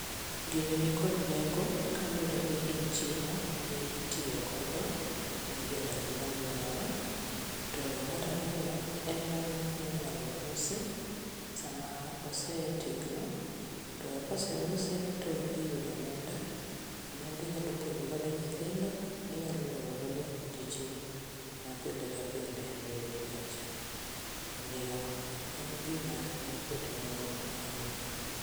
Gini nikod nengo kaluwre ni en chiemo mitiyogodo ne jodak ma alworawa. Mar ariyo en giminyalo usi sama osetegno to koseuse to iyudo omenda, omenda inyalo puonjogodo nyithindo, inyalo loyo godo dichni mapile ka pile e odi kacha, omiyo en gima nikod nengo ahinya.